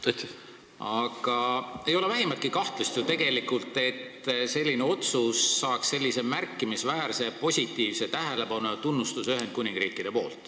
Tegelikult ei ole ju vähimatki kahtlust, et selline otsus saaks Ühendkuningriigis märkimisväärse positiivse tähelepanu ja tunnustuse osaliseks.